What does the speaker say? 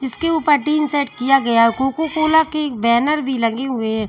इसके ऊपर tin set किया गया कोकोकोला की बैनर भी लगे हुए है।